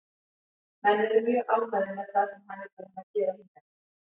Menn eru mjög ánægðir með það sem hann er búinn að gera hingað til.